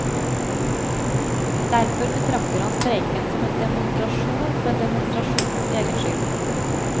Derfor betrakter han streiken som en demonstrasjon for demonstrasjonens egen skyld.